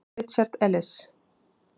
Richard Elis.